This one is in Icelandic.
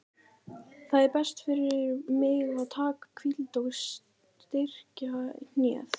Það er best fyrir mig að taka hvíld og styrkja hnéð.